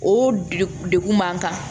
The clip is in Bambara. O de degu man kan